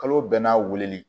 Kalo bɛɛ n'a weeleli